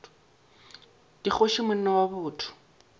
ke kgoši monna wa botho